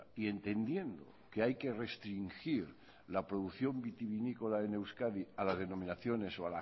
y entendiendo que hay que restringir la producción vinícola en euskadi a las denominaciones o